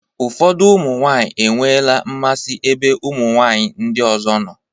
Ụfọdụ ụmụ nwaanyị enweela mmasị n'ebe ụmụ nwaanyị ndị ọzọ nọ.